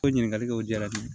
O ɲininkali kɛ o diyara n ye